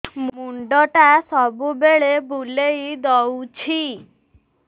ମୁଣ୍ଡଟା ସବୁବେଳେ ବୁଲେଇ ଦଉଛି